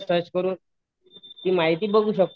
हां